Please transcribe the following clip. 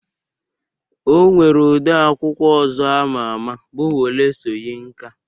O nwere odee akwụkwọ ọzọ ama ama bụ Wole Soyinka